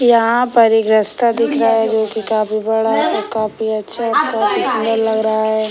यहाँ पर एक रस्ता दिख रहा है जो की बहुत बड़ा है और काफी अच्छा है काफी सुन्दर लग रहा है।